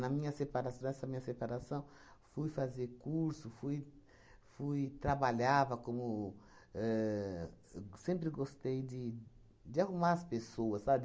minha separação, nessa minha separação, fui fazer curso, fui, fui... Trabalhava como ahn... Sempre gostei de de arrumar as pessoas, sabe?